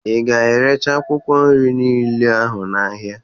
Ị ga-erecha akwụkwọ nri niile ahụ n'ahịa?